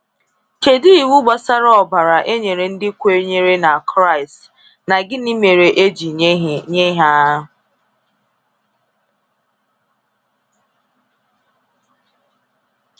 Kedu iwu gbasara ọbara e nyere ndị kwenyere na kraịst, na gịnị mere e ji nye ha?